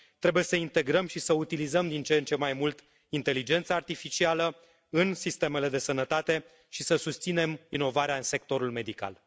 Trebuie să integrăm și să utilizăm din ce în ce mai mult inteligența artificială în sistemele de sănătate și să susținem inovarea în sectorul medical.